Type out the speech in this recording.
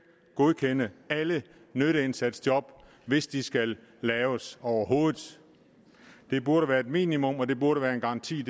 godkende alle nytteindsatsjob hvis de skal laves overhovedet det burde være et minimum og det burde være en garanti